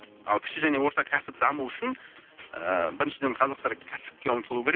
ал кіші және орта кәсіп дамуы үшін ыыы біріншіден қазақтар кәсіпке ұмтылу керек